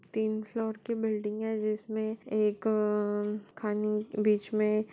तीन फ्लोर की बिल्डिंग है जिसमे एक- अअअ खाने बीच मे --